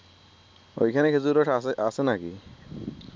অইখানে খেজুরের রস আছে নাকি